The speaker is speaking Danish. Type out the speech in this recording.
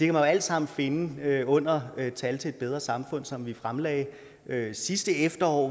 jo alt sammen finde under tal til et bedre samfund som vi fremlagde sidste efterår og